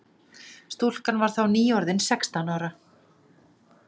Stúlkan var þá nýorðin sextán ára